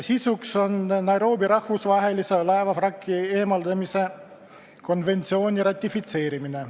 Sisuks on Nairobi rahvusvahelise laevavrakkide eemaldamise konventsiooni ratifitseerimine.